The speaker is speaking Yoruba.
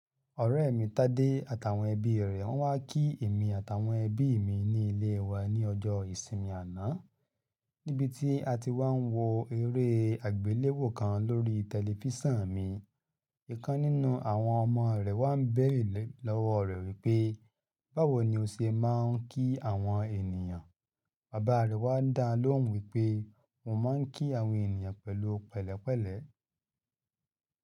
Ọ̀rẹ́ mi Tádé àtàwọn ẹbí rẹ̀ wá kí èmi àtàwọn ẹbí mi ní ilé wa ní ọjọ́ ìsinmi àná, níbi tí a ti wá ń wo eré àgbéléwò kan lórí tẹ̀lifísàn mi. Ìkan nínú àwọn ọmọ rẹ̀ wá bẹ̀rẹ̀ lọ́wọ́ rẹ̀ wípé, "báwo ni o ṣe má ń kí àwọn ènìyàn?" Bàbá rẹ̀ wá dán lóhùn wípé, "mo má ń kí àwọn ènìyàn pẹ̀lú pẹ̀lẹ́pẹ̀lẹ́".